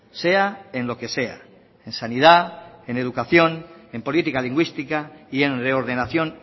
sea en lo que sea en sanidad en educación en política lingüística y en reordenación